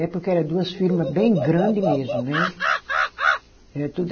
É porque era duas firma bem grande mesmo, né? É tudo